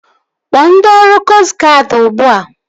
Kpọọ ndị ọrụ koostụ guadi ugbua!